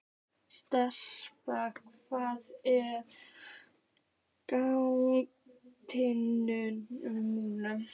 Stapi, hvað er í dagatalinu mínu í dag?